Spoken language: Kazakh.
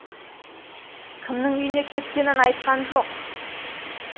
кімнің үйіне кеткенін айтқан жоқ